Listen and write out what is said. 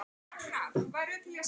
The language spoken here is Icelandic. Sigurhildur, hvernig er veðurspáin?